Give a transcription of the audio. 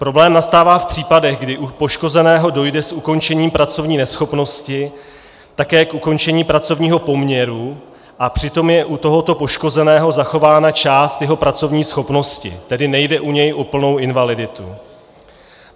Problém nastává v případech, kdy u poškozeného dojde s ukončením pracovní neschopnosti také k ukončení pracovního poměru a přitom je u tohoto poškozeného zachována část jeho pracovní schopnosti, tedy nejde u něj o plnou invaliditu.